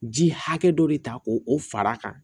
Ji hakɛ dɔ de ta k'o o fara a kan